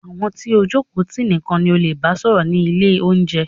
Àwọn tí o jókòó tì nìkan ni o leè bá sọ̀rọ̀ ni ilé oúnjẹ.